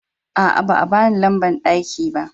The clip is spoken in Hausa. A'a, ba bani lamban daki ko ba.